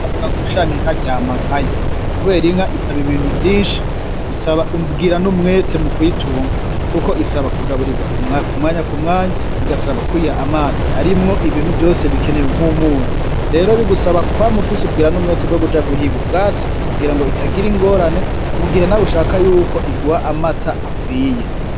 Bavuga ngo ushaka inka aryama nkayo kubera inka isaba ibintu vyinshi isaba ubwira n'umwete mu kuyitunga kuko isaba kugaburirwa ku mwanya ku mwanya igasaba kuyiha amazi arimwo ibintu vyose bikenewe mu mubiri nk'umunyu, rero bigusaba kwama ufise ubwira n'umwete bwo kuja guhiga ubwatsi kugira ngo itagira ingorane mu gihe nawe ushaka yuko iguha amata akwiye.